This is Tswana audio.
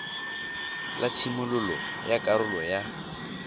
la tshimololo ya karolo ya